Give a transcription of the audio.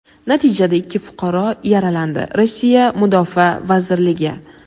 natijada ikki fuqaro yaralandi – Rossiya Mudofaa vazirligi.